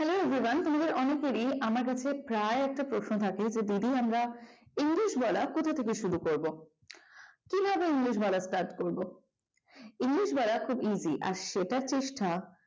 hey everyone তোমাদের অনেকেরই আমাদের কাছে প্রায় একটাই প্রশ্ন থাকে যে দিদি আমরা english বলা কোথা থেকে শিখব কিভাবে english বলা start করব english বলা খুব easy আর সেটার চেষ্টা